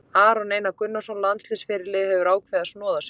Aron Einar Gunnarsson, landsliðsfyrirliði, hefur ákveðið að snoða sig.